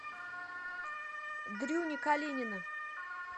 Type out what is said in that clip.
дрюни калинина